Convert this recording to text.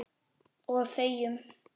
Og þegjum.